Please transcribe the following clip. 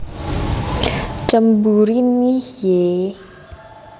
Cemburu Nih Yee